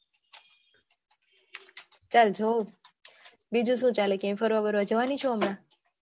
ચાલ જોઉં બીજું શું ચાલે ફરવા બરવા જવાની છે હમણાં